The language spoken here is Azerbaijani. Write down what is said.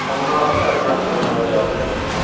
Onun ağzı nədir mən soruşanda cavab verməsin?